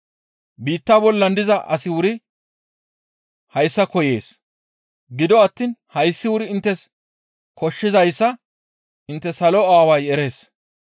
Biitta bollan diza asi wuri hayssa koyees; gido attiin hayssi wuri inttes koshshizayssa intte Salo Aaway erees.